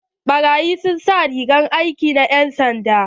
Baraƴin sun sa rigar aiki na yan'sanda.